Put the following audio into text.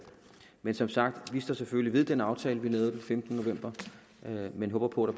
men som sagt står vi selvfølgelig ved den aftale vi lavede den femtende november men håber på at